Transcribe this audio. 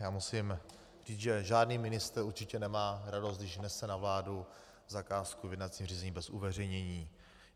Já musím říct, že žádný ministr určitě nemá radost, když nese na vládu zakázku v jednacím řízení bez uveřejnění.